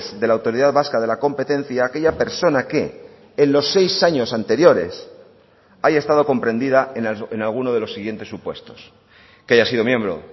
de la autoridad vasca de la competencia aquella persona que en los seis años anteriores haya estado comprendida en alguno de los siguientes supuestos que haya sido miembro